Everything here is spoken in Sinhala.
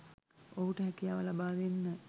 ඔහුට හැකියාව ලබාදෙන්න